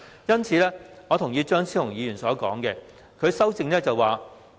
因此，我同意張超雄議員的修正案。